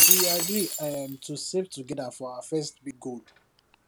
we agree um to save together for our first big goal